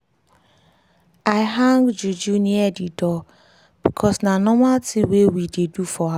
she dey wear juju bangle wey get sign from her family thing.